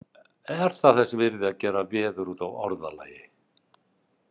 Er það þess virði að gera veður út af orðalagi?